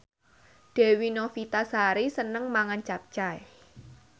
Dewi Novitasari seneng mangan capcay